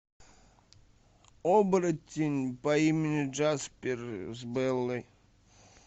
оборотень по имени джаспер с беллой